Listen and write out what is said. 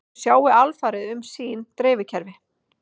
Þau sjái alfarið um sín dreifikerfi